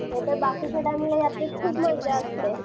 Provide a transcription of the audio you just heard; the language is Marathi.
नाहीतर बाकीच्या टायमात यात्रेत खूप मजा असते.